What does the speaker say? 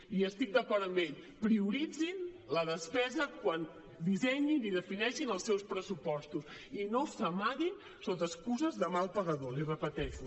i estic d’acord amb ell prioritzin la despesa quan dissenyin i defineixin els seus pressupostos i no s’amaguin sota excuses de mal pagador l’hi repeteixo